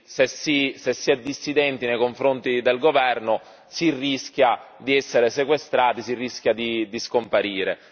se si è dissidenti nei confronti del governo si rischia di essere sequestrati, si rischia di scomparire.